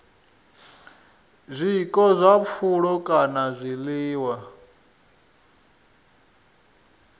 zwiko zwa pfulo kana zwiḽiwa